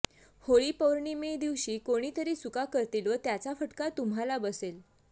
होळी पौर्णिमेदिवशी कोणीतरी चुका करतील व त्याचा फटका तुम्हाला बसेल